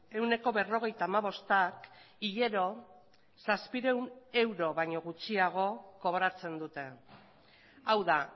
ehuneko berrogeita hamabostak hilero zazpiehun euro baino gutxiago kobratzen dute hau da